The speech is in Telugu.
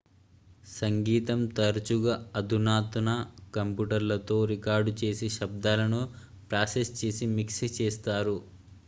సంగీతం తరచుగా అధునాతన కంప్యూటర్లతో రికార్డు చేసి శబ్దాలను ప్రాసెస్ చేసి మిక్స్ చేస్తారు